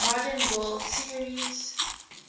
modern world series